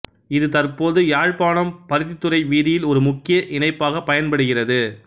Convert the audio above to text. இது தற்போது யாழ்ப்பாணம் பருத்தித்துறை வீதியில் ஒரு முக்கிய இணைப்பாகப் பயன்படுகிறது